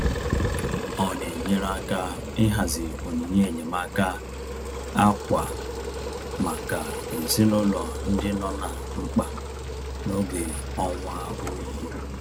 Ọ na-enyere aka ịhazi onyinye enyemaaka ákwà maka ezinụlọ ndị nọ na mkpa n'oge ọnwa oyi.